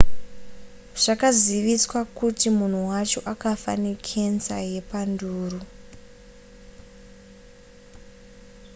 zvakaziviswa kuti munhu wacho akafa nekenza yepanduru